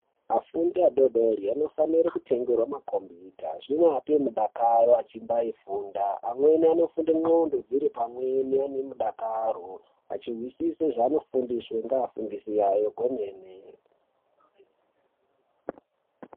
Afundi adoodori anofanire kutengerwa makombiyuta. Zvinoape mudakaro achimbaifunda. Amweni anofunde ndxondo dziri pamwepo ane mudakaro achizwisisa zvavanofundiswa ngevafundisi vavo kwemene.